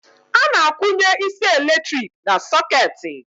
Ana akwụnye isi eletrik na socketị